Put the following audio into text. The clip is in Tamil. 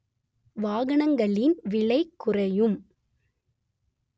வாகனங்களின் விலை குறையும்